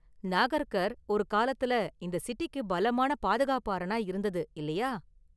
நாகர்கர் ஒரு காலத்தில் இந்த சிட்டிக்கு பலமான பாதுகாப்பு அரணா இருந்தது, இல்லையா?